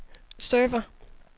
server